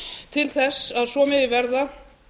til þess að svo megi verða